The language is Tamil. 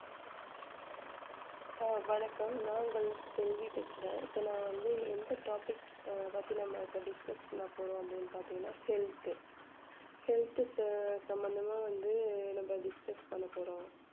அஹ் வணக்கம் நான் உங்கள் செல்வி பேசுறேன் இப்ப நான் வந்து எந்த topic அஹ் பத்தி நம்ம இப்போ discuss பண்ண போறோம் அப்படின்னு பாத்தீங்கன்னா health health ச~ சம்பந்தமாக வந்து நம்ம discuss பண்ண போறோம்